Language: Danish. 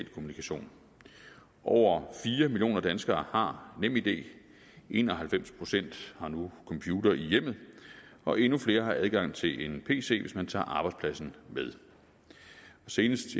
kommunikation over fire millioner danskere har nemid en og halvfems procent har nu computer i hjemmet og endnu flere har adgang til en pc hvis man tager arbejdspladsen med senest